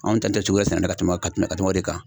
Anw ta te cogoya sɛnɛ dɔn ka tɛmɛ ka tɛmɛ o de kan